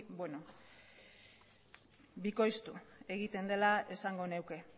bikoiztu egiten dela esango nuke